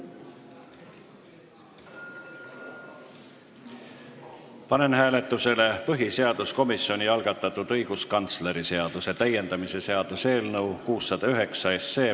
Panen hääletusele põhiseaduskomisjoni algatatud õiguskantsleri seaduse täiendamise seaduse eelnõu 609.